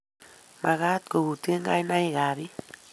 Magat koutye kainaikab biik